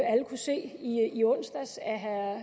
herre